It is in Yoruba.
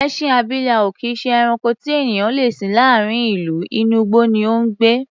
Ẹṣin abilà ò kì í ṣe ẹranko tí ènìyàn le sìn láàárín ìlú, inú igbó ni ó ń gbé.